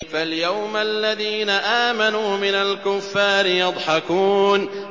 فَالْيَوْمَ الَّذِينَ آمَنُوا مِنَ الْكُفَّارِ يَضْحَكُونَ